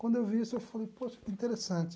Quando eu vi isso eu falei, poxa, que interessante.